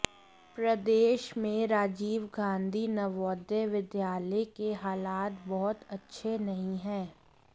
प्रदेश में राजीव गांधी नवोदय विद्यालय के हालात बहुत अच्छे नहीं हैं